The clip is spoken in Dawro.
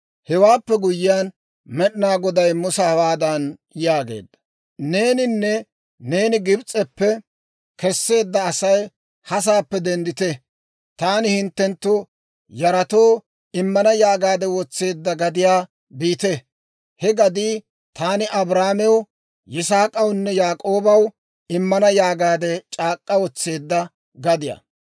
Hewaappe guyyiyaan Med'inaa Goday Musa hawaadan yaageedda; «Neeninne neeni Gibs'eppe kesseedda Asay ha sa'aappe denddite; ‹Taani hinttenttu yaratoo immana› yaagaadde wotseedda gadiyaa biite. He gadii taani Abrahaamew, Yisaak'awunne Yaak'oobaw immana yaagaadde c'aak'k'a wotseedda gadiyaa.